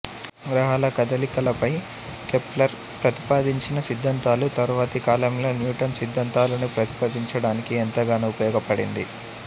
గ్రహాల కదలికలపై కెప్లర్ ప్రతిపాదించిన సిద్ధాంతాలు తర్వాతి కాలంలో న్యూటన్ సిద్ధాంతాలను ప్రతిపాదించడానికి ఎంతగానో ఉపయోగపడింది